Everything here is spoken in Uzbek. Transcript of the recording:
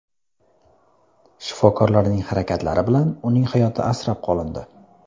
Shifokorlarning harakatlari bilan uning hayoti asrab qolindi.